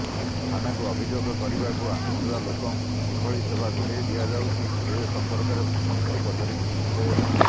ଥାନାକୁ ଅଭିଯୋଗ କରିବାକୁ ଆସୁଥିବା ଲୋକଙ୍କୁ କିଭଳି ସେବା ଯୋଗାଇ ଦିଆଯାଉଛି ସେ ସମ୍ପର୍କରେ ମନ୍ତ୍ରୀ ପଚରି ବୁଝିଥିଲେ